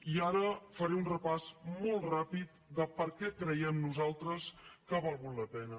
i ara faré un repàs molt ràpid de per què creiem nosaltres que ha valgut la pena